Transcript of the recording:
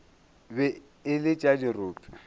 be e le tša dirope